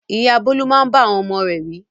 Ìyá Bólú máa ń bá àwọn ọmọ rẹ̀ wí.